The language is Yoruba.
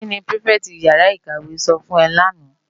Ki ni pirifèti iyàrá iwé sò fún è làná?